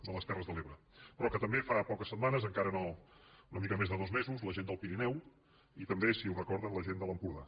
de les terres de l’ebre però també fa poques setmanes encara no una mica més de dos mesos la gent del pirineu i també si ho recorden la gent de l’empordà